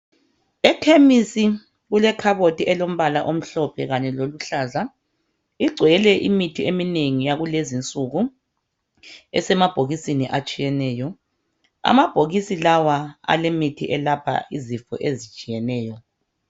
Ekhemisi kulekhaboti elilombala omhlophe kanye laluhlaza igcwele imithi eminengi yakulezi nsuku esemabhokisini atshiyeneyo amabhokisi lawa alemithi elapha izifo ezitshiyeneyo